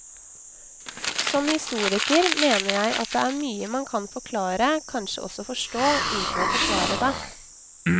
Som historiker mener jeg at det er mye man kan forklare, kanskje også forstå, uten å forsvare det.